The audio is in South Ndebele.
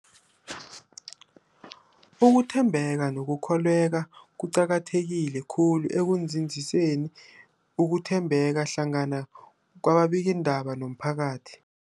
Ukuthembeka nokukholweka kuqakatheke khulu ekunzinziseni ukuthembana hlangana kwababikiindaba nomphakathi.